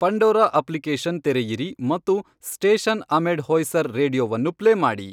Pandora application ತೆರೆಯಿರಿ ಮತ್ತು station ಅಮೆಡ್ ಹೋಯ್ಸರ್ ರೇಡಿಯೊವನ್ನು ಪ್ಲೇ ಮಾಡಿ